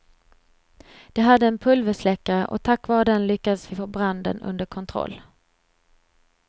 De hade en pulversläckare och tack vare den lyckades vi få branden under kontroll.